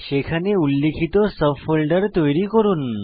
সেখানে উল্লিখিত sub folder তৈরি করুন